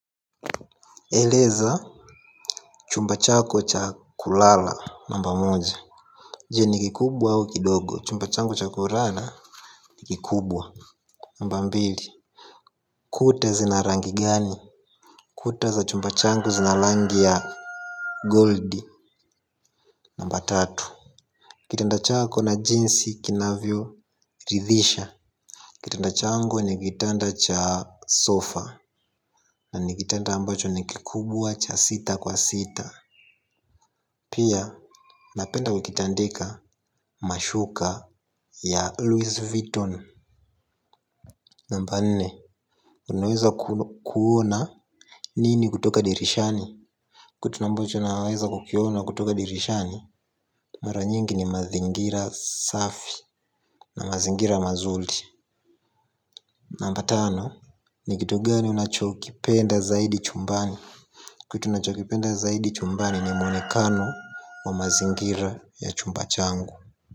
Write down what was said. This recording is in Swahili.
Eleza chumba chako cha kulala, namba moja. Je ni kikubwa au kidogo? Chumba changu cha kulala ni kikubwa. Namba mbili, kuta zina rangi gani. Kuta za chumba changu zina rangi ya gold. Namba tatu, kitanda chako na jinsi kinavyo ridhisha. Kitanda changu ni kitanda cha sofa. Na ni kitanda ambacho ni kikubwa cha sita kwa sita. Pia napenda kukitandika mashuka ya Louis Vuitton. Namba nne, unaweza kuona nini kutoka dirishani. Kitu ambacho ninaweza kukiona kutoka dirishani. Mara nyingi ni mazingira safi na mazingira mazuri. Namba tano, ni kitu gani unachokipenda zaidi chumbani. Kitu unachokipenda zaidi chumbani ni mwonekano wa mazingira ya chumba changu.